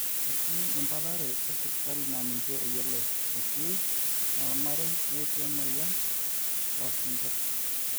etii mbala are e sipitali naa ninje eyioloi, etii normarei netii emoyian oo singir